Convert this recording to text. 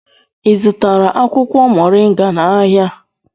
Ị zụtara akwụkwọ moringa n'ahịa?